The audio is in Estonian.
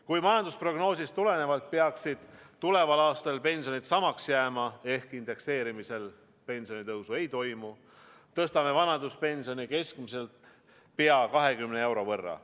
Kuigi majandusprognoosist tulenevalt peaksid tuleval aastal pensionid samaks jääma ehk indekseerimisel pensionitõusu ei toimu, tõstame vanaduspensioni keskmiselt pea 20 euro võrra.